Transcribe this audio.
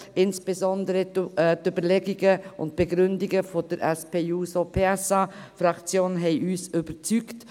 Insbesondere die Überlegungen der SP-JUSO-PSA-Fraktion haben uns überzeugt;